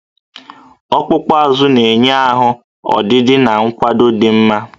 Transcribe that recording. Ọkpụkpụ azụ na-enye ahụ ọdịdị na nkwado dị mma